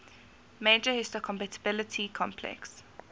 major histocompatibility complex